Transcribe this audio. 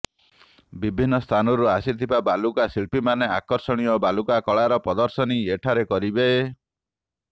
ବିଭିନ୍ନ ସ୍ଥାନରୁ ଆସିଥିବା ବାଲୁକାଶିଳ୍ପୀମାନେ ଆକର୍ଷଣୀୟ ବାଲୁକା କଳାର ପ୍ରଦର୍ଶନୀ ଏଠାରେ କରିବେ